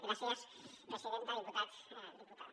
gràcies presidenta diputats diputades